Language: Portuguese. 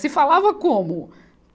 Se falava como?